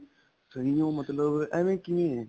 ਸਹੀ ਉਹ ਮਤਲਬ ਐਵੇ ਕਿਵੇਂ ਐ